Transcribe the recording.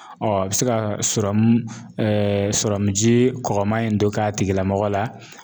a bi se ka ji kɔkɔman in don k'a tigilamɔgɔ la